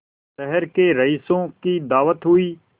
शहर के रईसों की दावत हुई